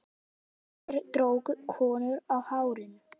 Þeir drógu konur á hárinu.